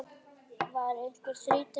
Var einhver þreyta í hópnum?